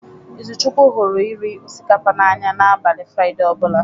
Izuchukwu hụrụ iri osikapa n'anya n'abalị fraide ọ bụla.